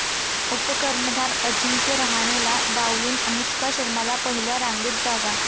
उपकर्णधार अजिंक्य रहाणेला डावलून अनुष्का शर्माला पहिल्या रांगेत जागा